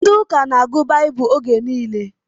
Ndị ụka na-agụ baibulu oge nile